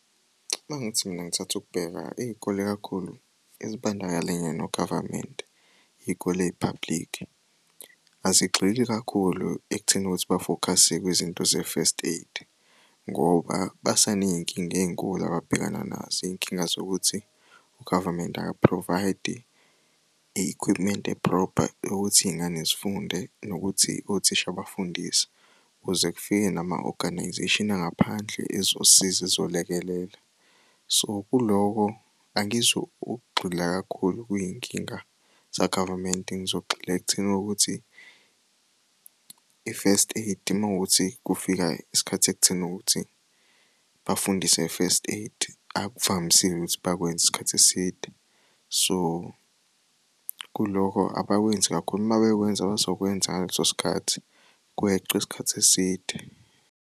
Uma ngithi mina ngithatha ukubheka iy'kole kakhulu ezibandakalenya no-Government, iy'kole ey'-public. Azigxili kakhulu ekutheni ukuthi bafokhase kwizinto ze-first aid ngoba baseney'nkinga ey'nkulu ababhekana nazo. Iy'nkinga zokuthi u-government aka-provide i-equipment e-proper yokuthi iy'ngane zifunde nokuthi othisha bafundise. Ukuze kufike nama-organization angaphandle ezosiza ezolekelela. So, kuloko angizukugxila kakhulu kuy'nkinga za-government, ngizogxila ekutheni ukuthi i-first aid idinga ukuthi kufika isikhathi ekutheni ukuthi bafundiswe nge-first aid. Akuvamisile ukuthi bakwenze isikhathi eside. So, kulokho abakwenzi kakhulu uma bekwenza bazokwenza ngaleso sikhathi kweciwa isikhathi eside.